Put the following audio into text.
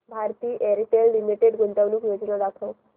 Bharti Airtel limited गुंतवणूक योजना दाखव